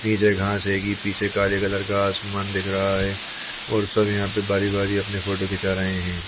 नीचे घास है। पीछे काले कलर का आसमान दिख रहा है और सब यहाँ पे बारी-बारी अपनी फोटो खिचा रहे है।